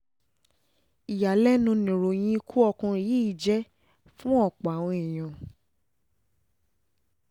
ìyàlẹ́nu nìròyìn ikú ọkùnrin yìí um jẹ́ fún ọ̀pọ̀ àwọn èèyàn